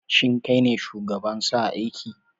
Shin kai ne shugaban sa aiki?